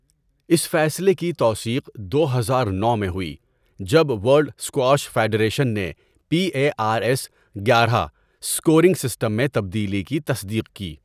اس فیصلے کی توثیق دو ہزار نو میں ہوئی جب ورلڈ اسکواش فیڈریشن نے پی اے آر ایس گیارہ اسکورنگ سسٹم میں تبدیلی کی تصدیق کی۔